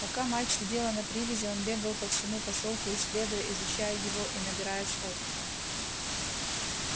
пока мать сидела на привязи он бегал по всему посёлку исследуя изучая его и набираясь опыта